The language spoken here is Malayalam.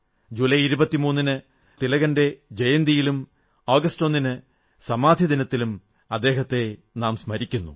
ജൂലൈ 23 ന് നാം തിലകന്റെ ജയന്തിയിലും ആഗസ്റ്റ് 01 ന് സമാധിദിനത്തിലും അദ്ദേഹത്തെ നാം സ്മരിക്കുന്നു